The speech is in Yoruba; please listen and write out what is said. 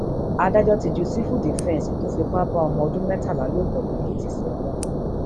adájọ ti ju sífùdífẹsì tó fipá bá ọmọ ọdún mẹtàlá lò pọ lèkìtì sẹwọn